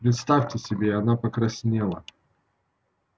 представьте себе она покраснела